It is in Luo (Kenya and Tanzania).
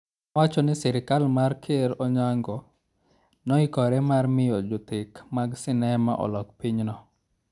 Nowacho ni sirkal mar Ker Onyango, ne oikore mar miyo jothek mag sinema olok pinyno.